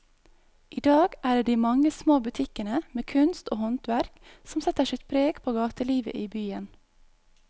I dag er det de mange små butikkene med kunst og håndverk som setter sitt preg på gatelivet i byen.